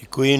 Děkuji.